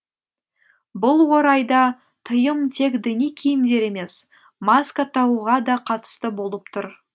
бұл орайда тыйым тек діни киімдер емес маска тағуға да қатысты болып тұр